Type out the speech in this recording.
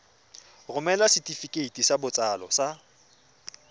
romela setefikeiti sa botsalo sa